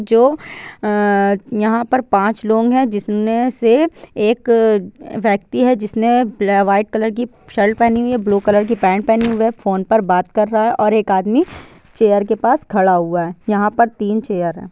यहां पर पाँच लोग है जिसमे से एक व्यक्ति है जिसने व्हाइट कलर की शर्ट पहनी है ब्लू कलर की पैंट पहनी हुई है फोन पर बात कर रहा है और एक आदमी चेयर के पास खड़ा हुआ है| यहां पर तीन चेयर है।